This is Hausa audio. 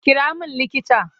Kira min likita!